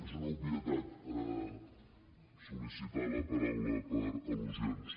és una obvietat sol·licitar la paraula per al·lusions